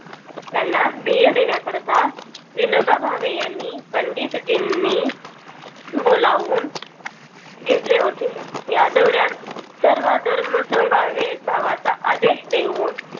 त्यांना धीर देण्याकरता विनोबा भावे यांनी पंडितजी नी बोलावून घेतले. होते यादवराज सर्व धर्म समभाव एक भावा चा आदेश देऊन